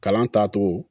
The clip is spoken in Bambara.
Kalan taacogo